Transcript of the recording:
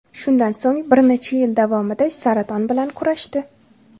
Shundan so‘ng bir necha yil davomida saraton bilan kurashdi.